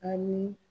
Ani